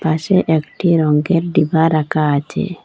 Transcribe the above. পাশে একটি রঙ্গের ডিবা রাখা আছে।